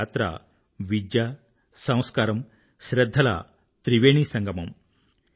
ఈ యాత్ర విద్య సంస్కారం శ్రధ్ధల త్రివేణీ సంగమం